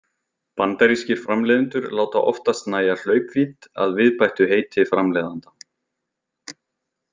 Bandarískir framleiðendur láta oftast nægja hlaupvídd að viðbættu heiti framleiðanda.